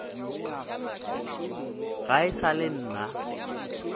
ga e sa le nna